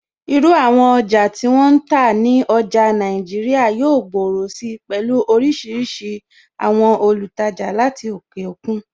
Irú àwọn ọjà tí wọ́n ń tà ní ọjà Nàìjíríà yóò gbòòrò si pẹ̀lú oríṣiríṣi àwọn olùtajà láti òkè òkun.